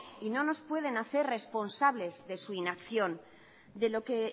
y no nos pueden hacer responsables de su inacción de lo que